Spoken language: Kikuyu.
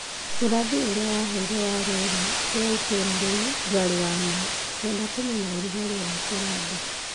ũrathi ũrĩa wanheire wa rĩera rĩa rĩera wa itũũra rĩu ndwarĩ wa ma. Ngwenda kũmenya ũrugarĩ wa kũrĩa ndĩ